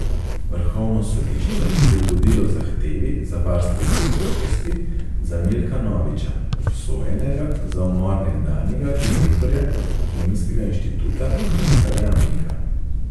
Vrhovno sodišče je ugodilo zahtevi za varstvo zakonitosti za Milka Noviča, obsojenega za umor nekdanjega direktorja Kemijskega inštituta Janka Jamnika.